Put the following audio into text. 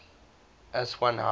aswan high dam